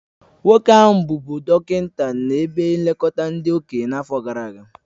Nwoke ahụ bụbụ dọkịnta na ebe nlekọta ndị okenye n'afọ gara aga